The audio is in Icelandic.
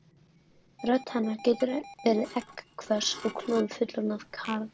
Rödd hennar getur verið egghvöss og klofið fullorðna karl